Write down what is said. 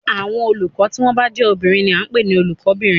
Àwọn olùkọ́ tí wọ́n bá jé obìnrin ni a n pè ní Olùkó bìnrin